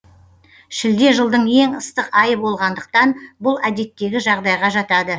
шілде жылдың ең ыстық айы болғандықтан бұл әдеттегі жағдайға жатады